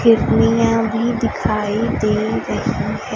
किडनीया भी दिखाई दे रही है।